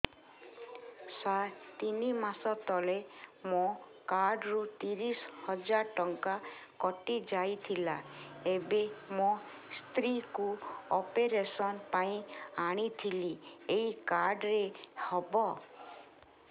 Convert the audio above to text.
ସାର ତିନି ମାସ ତଳେ ମୋ କାର୍ଡ ରୁ ତିରିଶ ହଜାର ଟଙ୍କା କଟିଯାଇଥିଲା ଏବେ ମୋ ସ୍ତ୍ରୀ କୁ ଅପେରସନ ପାଇଁ ଆଣିଥିଲି ଏଇ କାର୍ଡ ରେ ହବ